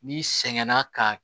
N'i sɛgɛnna ka